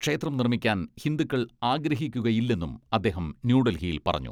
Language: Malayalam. ക്ഷേത്രം നിർമ്മിക്കാൻ ഹിന്ദുക്കൾ ആഗ്രഹിക്കുകയില്ലെന്നും അദ്ദേഹം ന്യൂഡൽഹിയിൽ പറഞ്ഞു.